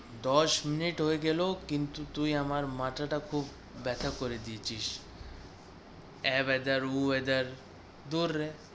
দশ মিনিট হয়ে গেলেও, কিন্তু তুই আমার মাথাটা খুব ব্যাথা করে দিয়েছিস আঁ weather উঁ weather দূর রে